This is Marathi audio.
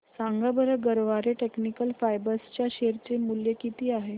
सांगा बरं गरवारे टेक्निकल फायबर्स च्या शेअर चे मूल्य किती आहे